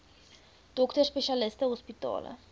dokters spesialiste hospitale